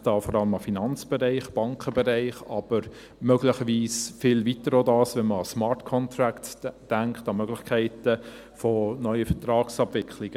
Ich denke da vor allem an den Finanzbereich, den Bankenbereich, aber möglicherweise geht es auch viel weiter als das, wenn man an Smart Contracts denkt, an Möglichkeiten für neue Vertragsabwicklungen.